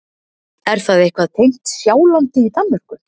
Er það eitthvað tengt Sjálandi í Danmörku?